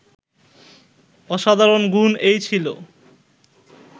অসাধারণ গুণ এই ছিল